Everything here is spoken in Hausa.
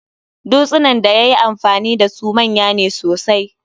Dutsunan daya yi amfani dasu manya ne sosai